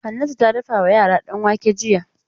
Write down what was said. Hannatu ta dafa wa yara danwake jiya.